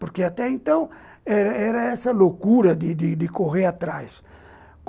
Porque até então era essa loucura de de de correr atrás.